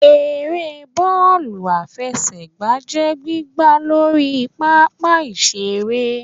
Ère bọọlu afẹsẹgba jẹ gbìgbá Lorí pápá ìsere.